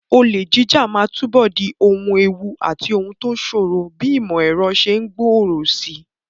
Olè jíjà máa túbọ̀ di ohun ewu àti ohun tó ṣòro bí ìmọ̀ ẹ̀rọ ṣe ń gbòòrò síi.